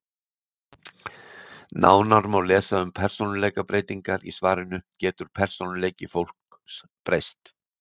Nánar má lesa um persónuleikabreytingar í svarinu Getur persónuleiki fólks gerbreyst?